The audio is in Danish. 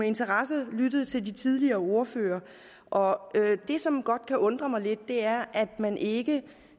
interesse lyttet til de tidligere ordførere og det som godt kan undre mig lidt er at man ikke